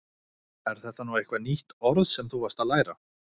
Er þetta nú eitthvað nýtt orð sem þú varst að læra?